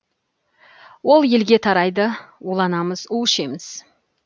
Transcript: ол елге тарайды уланамыз у ішеміз